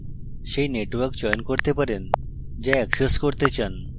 সেই network চয়ন করতে পারেন যা অ্যাক্সেস করতে চান